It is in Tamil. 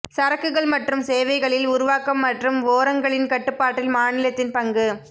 சரக்குகள் மற்றும் சேவைகளில் உருவாக்கம் மற்றும் ஓரங்களின் கட்டுப்பாட்டில் மாநிலத்தின் பங்கு